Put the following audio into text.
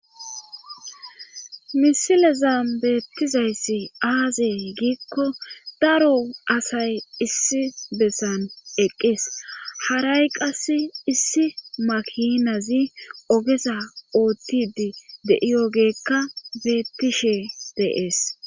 Misileza beettizayssi aazee giikko daro asay issi bessan eqqees haray qass issi makinazi ogesa oottidi de'iyogeekka beettishe dee'es.